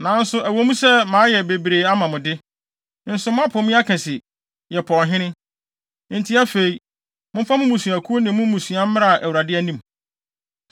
Nanso ɛwɔ mu sɛ mayɛ bebree ama mo de, nso moapo me aka se, ‘Yɛpɛ ɔhene.’ Enti afei, momfa mo mmusuakuw ne mo mmusua mmra Awurade anim.”